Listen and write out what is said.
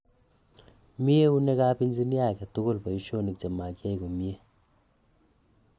Mii eunekaap engineer agetugul poishonik chemagiyai komyee